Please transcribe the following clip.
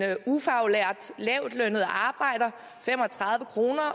ufaglært lavtlønnet arbejder fem og tredive kroner